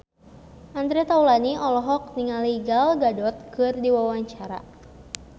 Andre Taulany olohok ningali Gal Gadot keur diwawancara